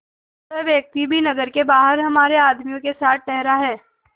वह व्यक्ति भी नगर के बाहर हमारे आदमियों के साथ ठहरा है